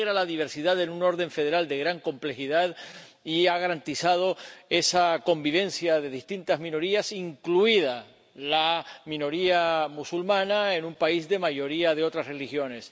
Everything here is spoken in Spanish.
Integra la diversidad de un orden federal de gran complejidad y ha garantizado esa convivencia de distintas minorías, incluida la minoría musulmana, en un país con mayoría de otras religiones.